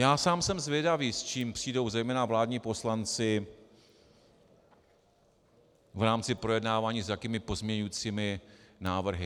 Já sám jsem zvědavý, s čím přijdou zejména vládní poslanci v rámci projednávání, s jakými pozměňovacími návrhy.